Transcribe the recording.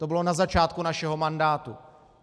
To bylo na začátku našeho mandátu.